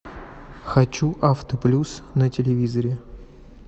хочу авто плюс на телевизоре